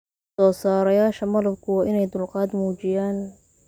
Soosaarayaasha malabku waa inay dulqaad muujiyaan.